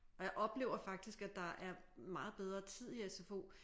Og jeg oplever faktisk at der er meget bedre tid i sfo